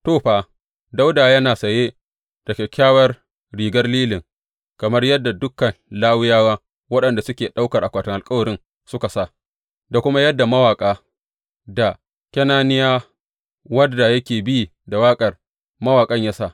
To, fa, Dawuda yana saye da kyakkyawar rigar lilin, kamar yadda dukan Lawiyawa waɗanda suke ɗaukar akwatin alkawarin suka sa, da kuma yadda mawaƙa, da Kenaniya, wanda yake bi da waƙar mawaƙan ya sa.